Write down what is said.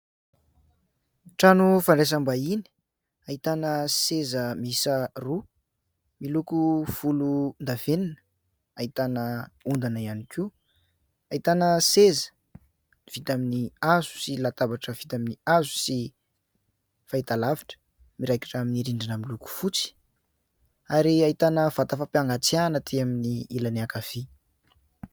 Trano fandraisam-bahiny, ahitana seza miisa roa miloko volondavenona. Ahitana ondana ihany koa, ahitana seza vita amin'ny hazo sy latabatra vita amin'ny hazo, sy fahitalavitra miraikitra amin'ny rindrina miloko fotsy, ary ahitana vata fampangatsiahana aty amin'ny ilany ankavia.